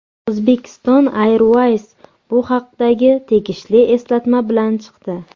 Uzbekistan Airways bu haqdagi tegishli eslatma bilan chiqdi .